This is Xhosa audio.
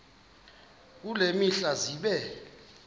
kule mihla zibe